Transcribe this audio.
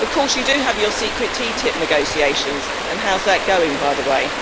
Of course you do have your secret TTIP negotiations and how is that going, by the way?